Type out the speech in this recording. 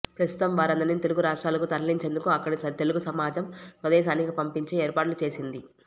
ప్రస్తుతం వారందరినీ తెలుగు రాష్ట్రాలకు తరలించేందుకు అక్కడి తెలుగు సమాజం స్వదేశానికి పంపించే ఏర్పాట్లు చేసింది